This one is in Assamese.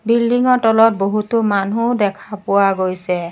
বিল্ডিং ৰ তলত বহুতো মানুহ দেখা পোৱা গৈছে।